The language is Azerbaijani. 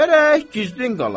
Gərək gizdin qala.